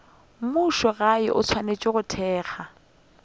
mmušogae o swanetše go thekga